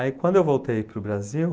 Aí, quando eu voltei para o Brasil,